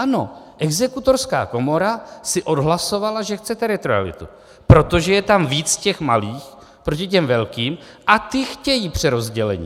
Ano, exekutorská komora si odhlasovala, že chce teritorialitu, protože je tam víc těch malých proti těm velkým, a ty chtějí přerozdělení.